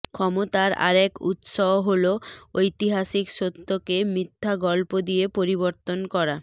ক্ষমতার আরেক উৎস হলো ঐতিহাসিক সত্যকে মিথ্যা গল্প দিয়ে পরিবর্তন করা